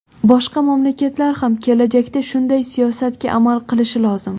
Boshqa mamlakatlar ham kelajakda shunday siyosatga amal qilishi lozim.